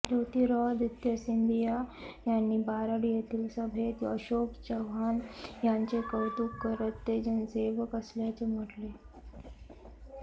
ज्योतिर्रादित्य सिंदियां यांनी बारड येथील सभेत अशोक चव्हाण यांचे कौतुक करत ते जनसेवक असल्याचे म्हटले